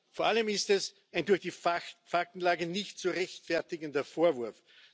Vor allem ist es ein durch die Faktenlage nicht zu rechtfertigender Vorwurf.